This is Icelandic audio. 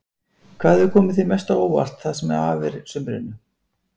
Hvað hefur komið þér mest á óvart það sem af er sumrinu?